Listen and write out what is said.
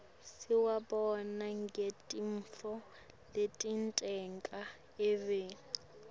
siwubona ngetintfo letenteka eveni